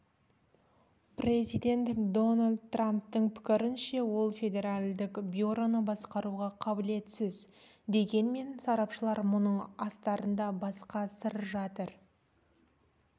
президент дональд трамптың пікірінше ол федеральдық бюроны басқаруға қабілетсіз дегенмен сарапшылар мұның астарында басқа сыр жатыр